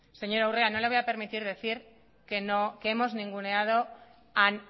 señora urrea no le voy a permitir decir que hemos ninguneado